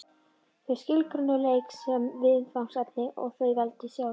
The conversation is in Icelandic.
Þau skilgreindu leik sem viðfangsefni sem þau veldu sjálf.